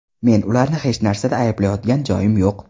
Men ularni hech narsada ayblayotgan joyim yo‘q.